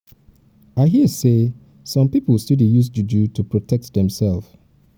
i hear sey some pipo still dey use juju to protect demsef.